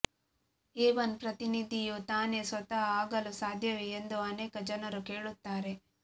A one ಪ್ರತಿನಿಧಿಯು ತಾನೇ ಸ್ವತಃ ಆಗಲು ಸಾಧ್ಯವೇ ಎಂದು ಅನೇಕ ಜನರು ಕೇಳುತ್ತಾರೆ